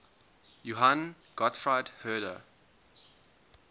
johann gottfried herder